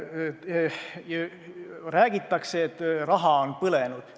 Räägitakse, et raha on põlenud.